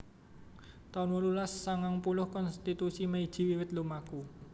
taun wolulas sangang puluh Konstitusi Meiji wiwit lumaku